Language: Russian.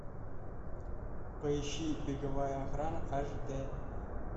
поищи беговая охрана аш д